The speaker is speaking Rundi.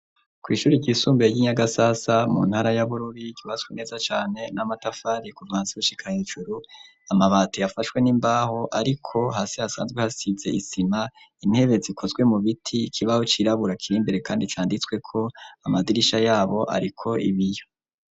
Kw'ishure ry'isumbuye y'inyagasasa mu ntara y'abururi ryubatswe neza cane n'amatafari kuva hasi gushika hejuru amabati yafashwe n'imbaho ariko hasi hasanzwe hasize isima intebe zikozwe mu biti ikibaho cirabura kirimbere kandi canditsweko amadirisha yabo ariko ibiyo.